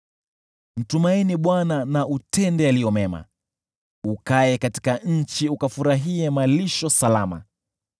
Mtumaini Bwana na utende yaliyo mema; Kaa katika nchi ukafurahie malisho salama.